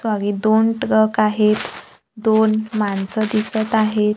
Sorry दोन truck आहेत दोन माणसं दिसत आहेत.